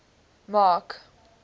mark